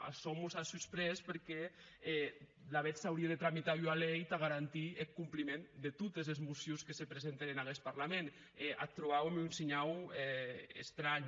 açò mos a sorprés perque alavetz s’aurie de tramitar ua lei tà garantir eth compliment de totes es mocions que se presenten en aguest parlament e ac trobàuem un shinhau estranh